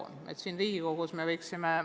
Me võiksime seda siin Riigikogus arutada.